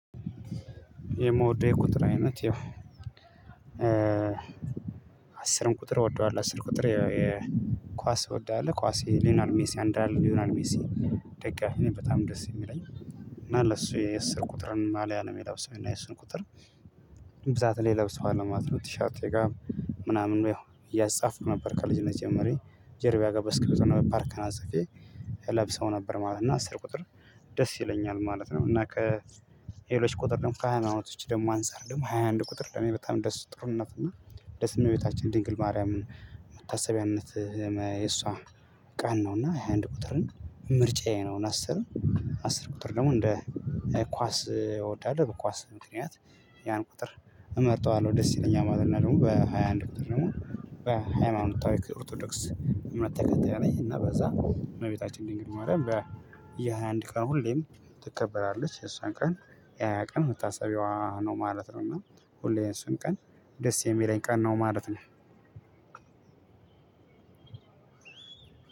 የምወደው የቁጥር አይነት ይሄው አስርም ቁጥር እወደዋለሁ አስር ቁጥር ኳስ እወደዋለሁ። ኳስ ሊዮናል ሜሲ አንድ አለ ሊዮናል ሜሲ። ደግሞ እኔ በጣም ደስ የሚለኝ እና ለሱ የአስር ቁጥርን ማልያ ነው የሚለብሰው እና የእስር ቁጥር ብዛት ላይ ለብሰው አለማት ነው። ቲሻርቴ ጋር ምናምን ነው ያው እያጻፉ ነበር ከልጅ ነው የመጀመረኝ። ጀርቢያ ጋር በስክር ጸሎት ነው ፓርክ አዘፌ ለብሰው ነበር። ማለት እና አስር ቁጥር ደስ ይለኛል ማለት ነው። እና ከሄሎች ቁጥር ደግሞ ካህናቶች ደግሞ አንፃር ደግሞ ሃያ አንድ ቁጥር ለኔ በጣም ደስ ጥሩነት እና ደስ እኔ ቤታችን ድንግል ማርያምን መታሰቢያነት የሷ ቀን ነው። እና የአንድ ቁጥርን ምርጫዬ ነው። አስር አስር ቁጥር ደግሞ እንደ ኳስ ይወዳል በኳስ ምክንያት ያን ቁጥር እመርጠዋለሁ ደስ ይለኛል ማለት ነው። ደግሞ በሃያ አንድ ቁጥር ደግሞ በሃያ አንድ ታዋይ ኦርቶዶክስ እምነት ተከታይ ነኝ። እና በዛ እመቤታችን እንግዲህ በየአንድ ቀን ሁሌም ትከበራለች የሷን ቀን የሃያ ቀን መታሰቢያዋ ነው ማለት ነው። እና ሁሌም እሱን ቀን ደስ የሚለኝ ቀን ነው ማለት ነው።